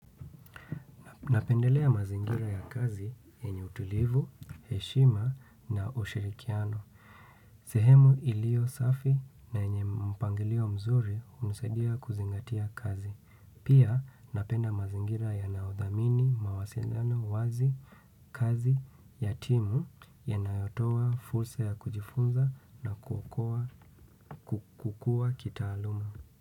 Napendelea mazingira ya kazi yenye utulivu heshima na ushirikiano. Sehemu ilio safi na yenye mpangilio mzuri hunisaidia kuzingatia kazi. Pia napenda mazingira ya naodhamini, mawasindano, wazi, kazi, yatimu ya nayotowa fursa ya kujifunza na kukua kitaaluma.